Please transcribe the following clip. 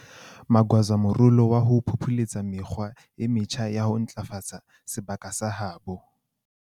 Magwaza morolo wa ho phopholetsa mekgwa e metjha ya ho ntlafatsa sebaka sa habo.